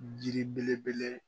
yiri belebele